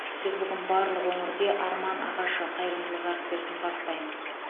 біз бүгін барлық өңірде арман ағашы қайырымдылық акциясын бастаймыз